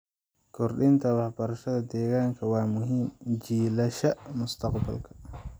Kordhinta waxbarashada deegaanka waa muhiim jiilasha mustaqbalka.